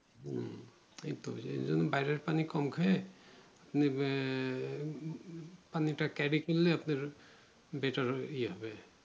হম তাইতো যে এইরকম বাইরের পানি কম খেয়ে আহ পানিটা carry করলে আপনার better ইয়ে হবে